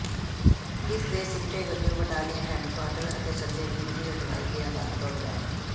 ਜਿਸ ਦੇ ਸਿੱਟੇ ਵਜੋਂ ਬਟਾਲੀਅਨ ਹੈੱਡਕੁਆਰਟਰ ਅਤੇ ਸੱਜੇ ਵਿੰਗ ਦੀ ਅਗਵਾਈ ਦੀ ਵਾਗਡੋਰ ਲੈਫ